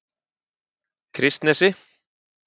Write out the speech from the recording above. Kristnesi